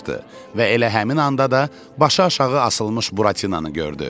Və elə həmin anda da başı aşağı asılmış Buratinanı gördü.